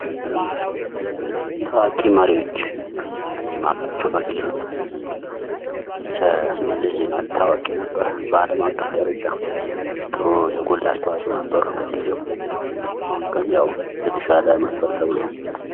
ታዋቂ መሪዎች ፦ እኔ የማውቃቸው በግሌ መለስ ዜናዊ ታዋቂ ነበር በአለም አቀፍ መረጃ ጥሩ ፣ የጎላ አስተዋጽኦ ነበረው በጊዜው ። አሁን ግን ያው የተሻለ መጣል ተብሏል ።